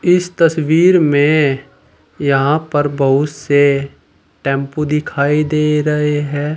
इस तस्वीर में यहां पर बहुत से टेंपो दिखाई दे रहे हैं।